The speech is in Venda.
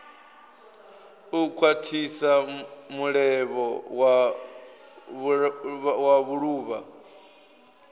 u khwathisa mulevho wa vhuluvha